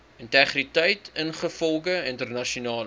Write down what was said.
integriteit ingevolge internasionale